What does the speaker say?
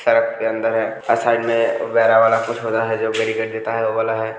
के अंदर है आ साइड में वाला कुछ हो रहा है जो बैरिकेट देता है वो वाला है |